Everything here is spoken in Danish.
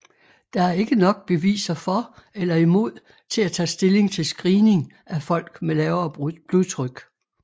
Der er ikke nok beviser for eller imod til at tage stilling til screening af folk med lavere blodtryk